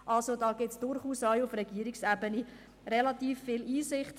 Also, da gibt es durchaus auch auf Regierungsebene relativ viel Einsicht.